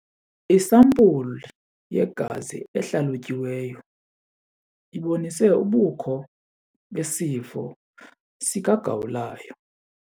Isampulu yegazi ehlalutyiweyo ibonise ubukho besifo sikagawulayo.